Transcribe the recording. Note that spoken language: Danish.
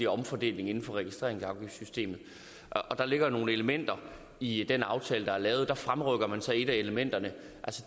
omfordeling inden for registreringsafgiftssystemet der ligger nogle elementer i den aftale der er lavet og der fremrykker man så et af elementerne